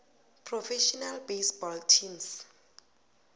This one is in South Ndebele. professional baseball teams